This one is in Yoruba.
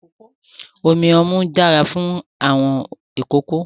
Omi ọmú dára fún àwọn ìkókó.